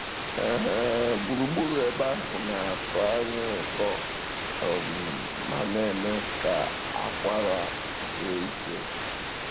um Gburugburu ebe ahụ na-atọ anya ụtọ um ma na-eme ka akwara zuru ike. um